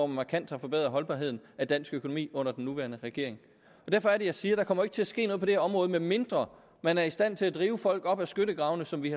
markant har forbedret holdbarheden af dansk økonomi under den nuværende regering derfor er det jeg siger der kommer til at ske noget på det her område medmindre man er i stand til at drive folk op af skyttegravene som vi